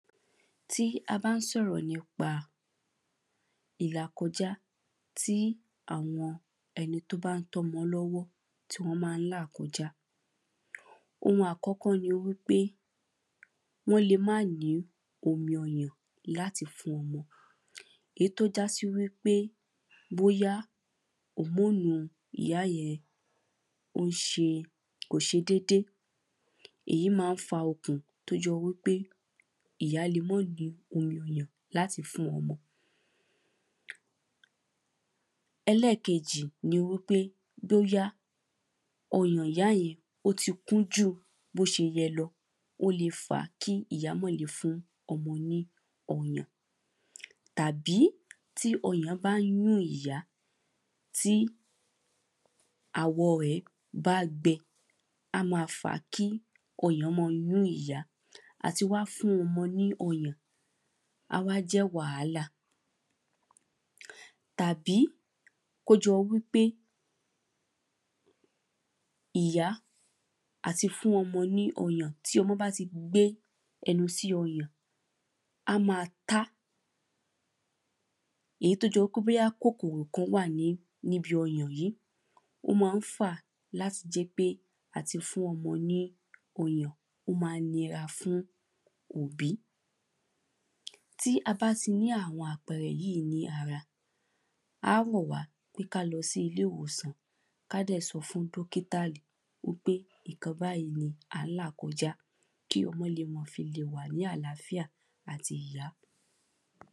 Ti a bá ń sọ̀rọ̀ nípa ìlàkọjá tí àwọn ẹni tí ó bá ń tọ́ ọmọ lọ́wọ́ tí wọ́n máa ń là kọjá Oun àkọ́kọ́ ni wípé wọ́n lè má ní omi ọyàn láti fún ọmọ Èyí tí ó jå sí wípé bóyá hormone ìyá yẹn ó ń ṣe kò ṣe dédé Èyí máa ń fa okun tí ó jọ wípé ìyá lè má ní omi ọyàn láti fún ọmọ Ẹlẹ́ẹ̀kejì ni wípé bóyá ọyàn ìyá yẹn ó ti kún jù bí ó ṣe yẹ lọ O lè fà á kí ìyá má lè fún ọmọ ní ọyàn Tàbí tí ọyàn bá ń yún ìyá tí àwọ̀ rẹ̀ bá gbẹ a máa fà á kí ọyàn máa yún ìyá àti wá fún ọmọ ní ọyàn á wá jẹ́ wàhálà Tàbí kí ó jọ wípé ìyá àti fún ọmọ ní ọyàn tí ọmọ bá ti gbé ẹnu sí ọyàn a máa tá èyí tí ó jọ wípé bóyá kòkòrò kan wà ní ní ibi ọyàn yìí O máa ń fà á láti jẹ́ pé àti fún ọmọ ní ọyàn ó máa ń nira fún òbí Tí a bá ti ní àwọn àpẹẹrẹ yìí ní ara a á rọ̀ wá pé kí á lọ sí ilé ìwòsàn kí a dẹ̀ sọ fún dọ́kítálì wípé nǹkan báyì ni à ń là kọjá kí ọmọ lè ma fi lè wà ní àlàáfíà àti ìyá